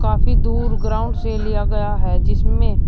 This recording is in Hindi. काफी दूर ग्राउंड से लिया गया है जिसमें--